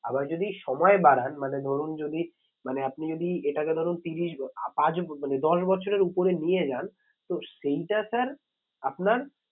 আবার যদি সময় বাড়ান মানে ধরুন যদি মানে আপনি যদি এটাকে ধরুন ত্রিরিশ মানে দশ বছরের উপরে নিয়ে যান তো সেইটা sir আপনার